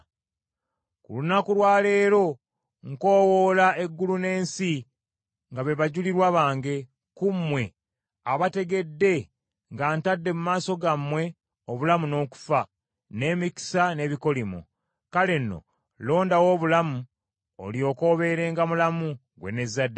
Ku lunaku lwa leero nkoowoola eggulu n’ensi nga be bajulirwa bange, ku mmwe, abategedde nga ntadde mu maaso gammwe, obulamu n’okufa; n’emikisa n’ebikolimo. Kale nno londawo obulamu, olyoke obeerenga mulamu, ggwe n’ezzadde lyo: